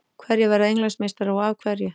Hverjir verða Englandsmeistarar og af hverju?